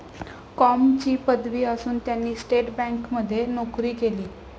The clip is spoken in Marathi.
कॉमची पदवी असून त्यांनी स्टेट बँकमध्ये नोकरी केली.